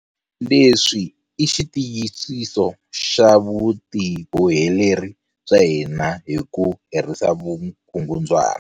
Leswi i xitiyisiso xa vutiboheleri bya hina hi ku herisa vukungundzwana.